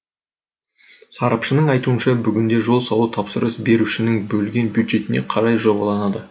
сарапшының айтуынша бүгінде жол салу тапсырыс берушінің бөлген бюджетіне қарай жобаланады